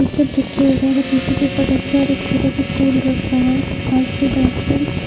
tissue paper रहे हुआ है एक छोटा सा फूल रखा हुआ है खास डिजाइन पे--